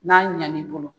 N'a ɲɛn'i bolo